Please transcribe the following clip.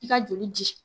I ka joli di